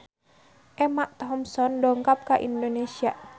Emma Thompson dongkap ka Indonesia